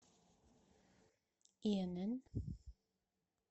инн